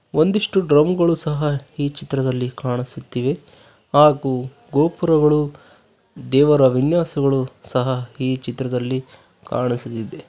ಒಂದಿಷ್ಟು ಡ್ರಮ್ ಗಳು ಸಹ ಈ ಚಿತ್ರದಲ್ಲಿ ಕಾಣಿಸುತ್ತಿವೆ ಹಾಗು ಗೋಪುರಗಳು ದೇವರ ವಿನ್ಯಾಸಗಳು ಸಹ ಈ ಚಿತ್ರದಲ್ಲಿ ಕಾಣಿಸಲಿದೆ.